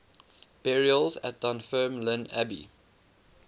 burials at dunfermline abbey